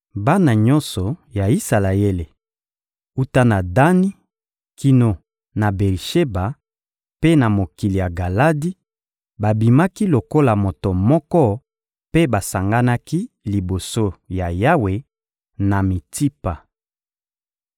Bana nyonso ya Isalaele, wuta na Dani kino na Beri-Sheba mpe na mokili ya Galadi, babimaki lokola moto moko mpe basanganaki liboso ya Yawe, na Mitsipa.